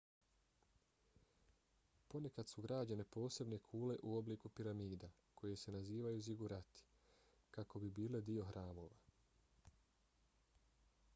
ponekad su građene posebne kule u obliku piramida koje se nazivaju zigurati kako bi bile dio hramova